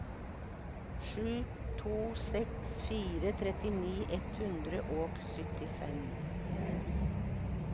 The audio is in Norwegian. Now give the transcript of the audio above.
sju to seks fire trettini ett hundre og syttifem